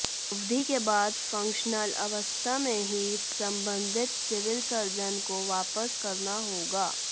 अवधि के बाद फंक्शनल अवस्था में ही संबंधित सिविल सर्जन को वापस करना होगा